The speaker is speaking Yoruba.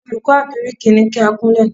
Olùkọ́ àgíríkì ní kí á kúnlẹ̀!